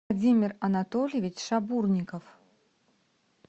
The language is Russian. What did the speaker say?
владимир анатольевич шабурников